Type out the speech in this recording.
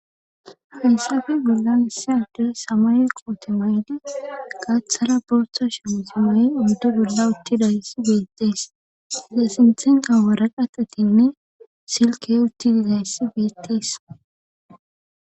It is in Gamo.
Hayssafe bollan issi addey samaye koote mayidi gaathara bootha shuraabe mayida oyde bolla uttidayssi beettees iza sinthenkka waraqatatinne silkkey utti dizayssi beetees